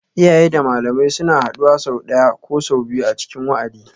Iyaye da malamai suna haduwa sau ɗaya ko sau biyu a cikin wa'adi